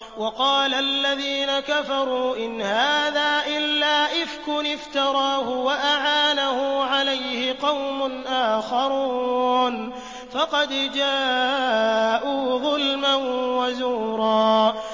وَقَالَ الَّذِينَ كَفَرُوا إِنْ هَٰذَا إِلَّا إِفْكٌ افْتَرَاهُ وَأَعَانَهُ عَلَيْهِ قَوْمٌ آخَرُونَ ۖ فَقَدْ جَاءُوا ظُلْمًا وَزُورًا